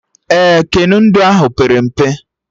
Ee, keno ndụ ahụ pere mpe